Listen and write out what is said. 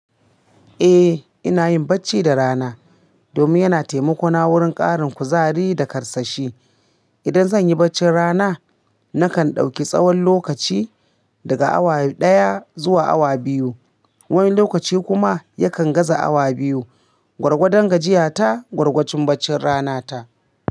Eh, ina yin bacci da rana domin yana taimako na wurin ƙarin kuzari da karsashi. Idan zan yi baccin rana, nakan ɗauki tsawon lokaci daga awa ɗaya zuwa awa biyu. Wani lokaci kuma yakan gaza awa biyu. Gwargwadon gajiya ta, gwargwacin baccin rana ta.